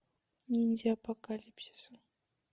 ниндзя апокалипсиса